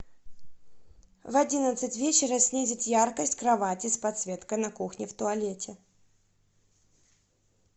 в одиннадцать вечера снизить яркость кровати с подсветкой на кухне в туалете